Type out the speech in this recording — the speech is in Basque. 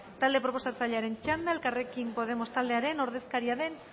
talde proposatzailearen txanda elkarrekin podemos taldearen ordezkaria den